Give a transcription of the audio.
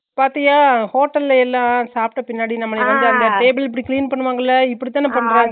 பாத்திய hotel ல எல்ல நம்ம சாப்பட பின்னாடி நம்மலையா வந்து அந்த table அ clean பண்ணுவாங்களா இப்புடித்தான பன்றங்கா